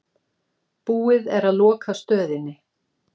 Búið er að loka stöðinni.